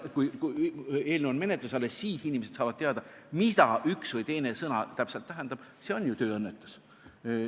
Kui eelnõu on menetluses ja alles siis saavad inimesed teada, mida üks või teine sõna täpselt tähendab, siis see on ju tööõnnetus.